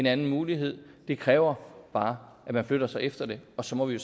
er en mulighed det kræver bare at man flytter sig efter den og så må vi